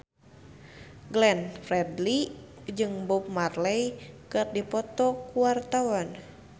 Glenn Fredly jeung Bob Marley keur dipoto ku wartawan